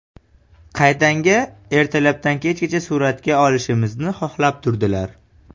Qaytanga ertalabdan kechgacha suratga olishimizni xohlab turdilar.